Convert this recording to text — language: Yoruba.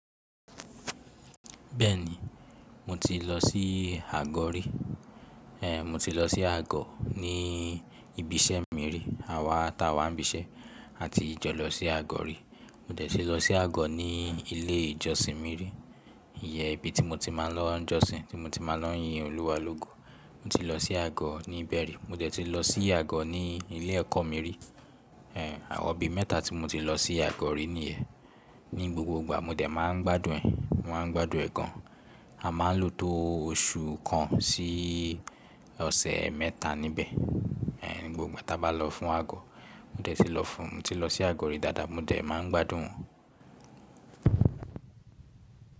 Bẹ́ẹ̀ni mo ti lọ sí àgọ́ rí. Ehn mo ti lọ sí àgọ́ ní ibi iṣẹ́ mi rí àwa ta wá ń bí iṣẹ́ a ti jọ lọ sí àgọ́ rí. Mo dẹ̀ ti lọ sí àgọ́ ní ilé ìjọsìn mi rí, ìyẹ́n ibi tí mo ti máa ń lọ jọsìn, tí mo ti máa ń lọ yin Olúwa lógo. Mo ti lọ sí àgọ́ ní bẹ́ẹ̀rẹ́. Mo dẹ̀ ti lọ sí àgọ́ ní ilé ẹ̀kọ́ mi rí. Ehn àwọ̀n bí mẹ́ta tí mo ti lọ sí àgọ́ rí nìyẹn. Ní gbogbo ìgbà mo dẹ̀ máa ń gbádùn ẹ̀. Mo maá gbádùn ẹ̀ gan. A máa lò tó oṣù kan sí ọ̀sẹ̀ mẹ́ta níbẹ̀. Ehn ní gbogbo ìgbà ta bá lọ fún àgọ́. Mo dẹ̀ ti lọ fún, mo ti lọ sí àgọ́ rí dáadáa mo dẹ̀ máa ń gbádùn wọ́n.